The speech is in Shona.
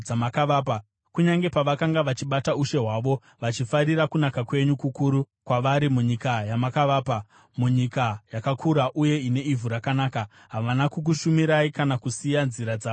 Kunyange pavakanga vachibata ushe hwavo, vachifarira kunaka kwenyu kukuru kwavari munyika yamakavapa, munyika yakakura uye ine ivhu rakanaka, havana kukushumirai kana kusiya nzira dzavo dzakaipa.